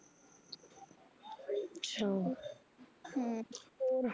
ਅੱਛਾ ਹਮ ਹੋਰ